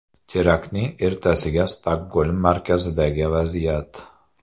Teraktning ertasiga Stokgolm markazidagi vaziyat.